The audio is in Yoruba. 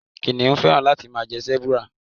Kìnnìún féràn láti máa jẹ Sẹ́búúrà.